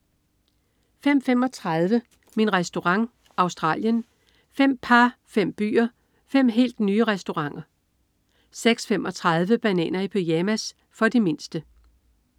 05.35 Min Restaurant. Australien. Fem par, fem byer, fem helt nye restauranter 06.35 Bananer i pyjamas. For de mindste